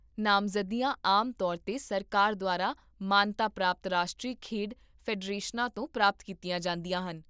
ਨਾਮਜ਼ਦਗੀਆਂ ਆਮ ਤੌਰ 'ਤੇ ਸਰਕਾਰ ਦੁਆਰਾ ਮਾਨਤਾ ਪ੍ਰਾਪਤ ਰਾਸ਼ਟਰੀ ਖੇਡ ਫੈਡਰੇਸ਼ਨਾਂ ਤੋਂ ਪ੍ਰਾਪਤ ਕੀਤੀਆਂ ਜਾਂਦੀਆਂ ਹਨ